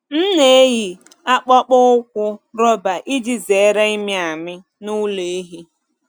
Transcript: M na-eyi akpụkpọ ụkwụ rọba iji zere ịmị amị n’ụlọ ehi.